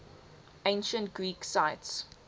ancient greek sites